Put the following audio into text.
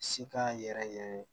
Si k'a yɛrɛ yɛrɛ